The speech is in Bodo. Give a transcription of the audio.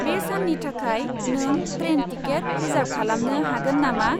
बे साननि थाखाय नों ट्रेन टिकेट रिसार्भ खालामनो हागोन नामा?